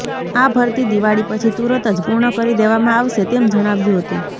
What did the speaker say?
આ ભરતી દિવાળી પછી તુરત જ પુર્ણ કરી દેવામાં આવશે તેમ જણાવ્યું હતુ